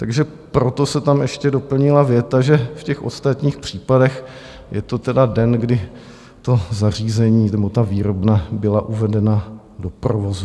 Takže proto se tam ještě doplnila věta, že v těch ostatních případech je to tedy den, kdy to zařízení nebo ta výrobna byla uvedena do provozu.